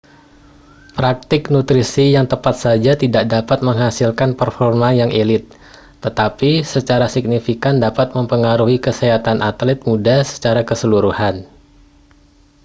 praktik nutrisi yang tepat saja tidak dapat menghasilkan performa yang elite tetapi secara signifikan dapat memengaruhi kesehatan atlet muda secara keseluruhan